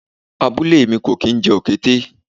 Abúlé mi kò kín jẹ Òkété.